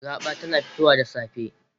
Raba tana fitowa da safe.